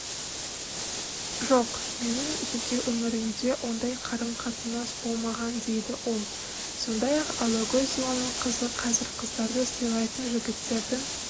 жоқ менің жеке өмірімде ондай қарым-қатынас болмаған дейді ол сондай-ақ алагөзованың қызы қазір қыздарды сыйлайтын жігіттердің